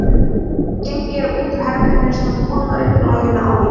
Áður en gengið er út úr herberginu setja konurnar upp blæjuna á ný.